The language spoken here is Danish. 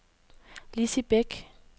Lizzie Bæk